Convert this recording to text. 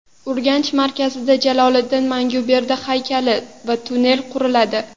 Urganch markazida Jaloliddin Manguberdi haykali va tunnel quriladi.